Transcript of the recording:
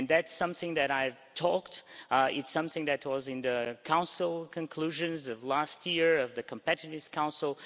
That's something that I've said, it's something that was in the Council conclusions of last year, of the Competitiveness Council.